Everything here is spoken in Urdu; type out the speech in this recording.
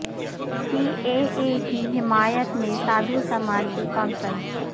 سی اے اے کی حمایت میں سادھو سماج کی کانفرنس